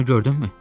Sonunu gördünmü?